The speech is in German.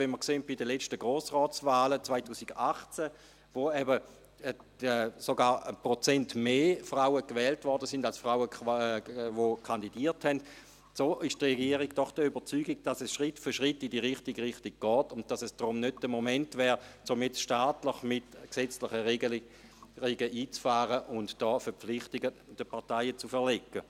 Wenn man die letzten Grossratswahlen 2018 sieht, als sogar 1 Prozent mehr Frauen gewählt wurden als Frauen kandidierten, ist die Regierung doch der Überzeugung, dass es Schritt für Schritt in die richtige Richtung geht und es nicht der Moment ist, um staatlich, mit gesetzlichen Regelungen, einzufahren und den Parteien Verpflichtungen aufzuerlegen.